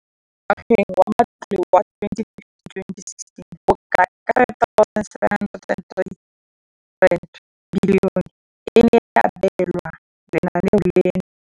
Mo ngwageng wa matlole wa 2015,16, bokanaka R5 703 bilione e ne ya abelwa lenaane leno.